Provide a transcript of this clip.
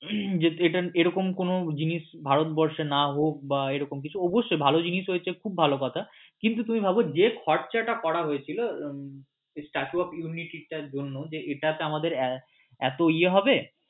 যে এরকম কোন জিনিস ভারতবর্ষে না হোক বা এরকম কিছু অবশ্যই ভালো জিনিস হয়েছে সেটা তো খুব ভালো কথা কিন্তু তুমি ভাবো যে খরচা টা করা হয়েছিল হম যে statue of unity এর জন্য যে এটাতে আমার এতো ইয়ে হবে